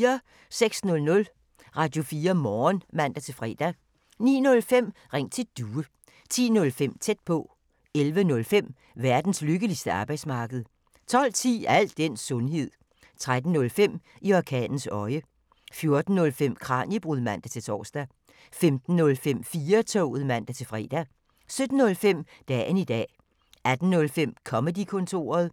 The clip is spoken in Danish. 06:00: Radio4 Morgen (man-fre) 09:05: Ring til Due (man-fre) 10:05: Tæt på (man-fre) 11:05: Verdens lykkeligste arbejdsmarked 12:10: Al den sundhed 13:05: I orkanens øje 14:05: Kraniebrud (man-tor) 15:05: 4-toget (man-fre) 17:05: Dagen i dag 18:05: Comedy-kontoret